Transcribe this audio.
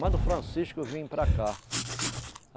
Manda o Francisco vir para cá.